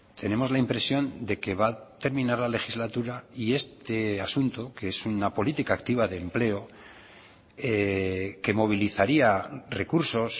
tenemos la impresión de que va a terminar la legislatura y este asunto que es una política activa de empleo que movilizaría recursos